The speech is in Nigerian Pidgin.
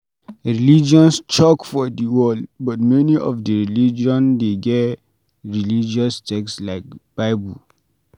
Religions choke for di world, but many of di religion de get religous text like bible